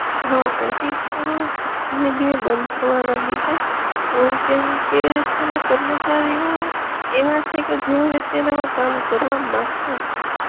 હઅ ઓફિસ પણઅ ધીમે ધીમે બંધ થવા લાગી છે, અમ કેમકે તેના કર્મચારીઓ એવા છે કે જે હવે તેનામાં કામ કરવા માગતા નથી.